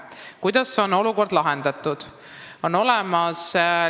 Kuidas on olukord lahendatud?